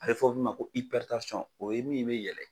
A bɛ fɔ min ma ko o ye min bɛ yɛlɛ.